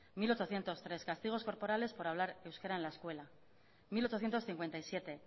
mil ochocientos tres castigos corporales por hablar euskera en la escuela mil ochocientos cincuenta y siete